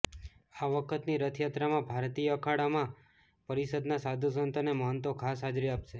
આ વખતની રથયાત્રામાં ભારતીય અખાડા પરિષદના સાધુ સંતો અને મહંતો ખાસ હાજરી આપશે